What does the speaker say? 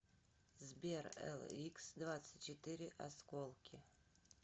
сбер эликсдвадцатьчетыре осколки